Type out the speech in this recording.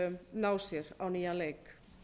ná sér á nýjan leik